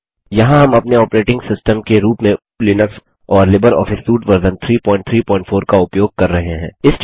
यहाँ हम अपने ऑपरेटिंग सिस्टम के रूप में लिनक्स और लिबर ऑफिस सूट वर्जन 334 का उपयोग कर रहे हैं